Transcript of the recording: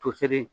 Toseri